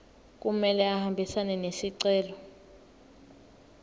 kumele ahambisane nesicelo